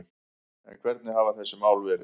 En hvernig hafa þessi mál verið